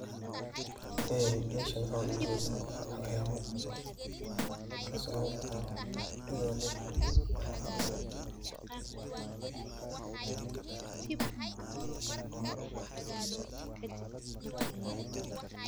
Een meshan waxa ogajeda xawayamo kaaso lagumagacawo idhaley.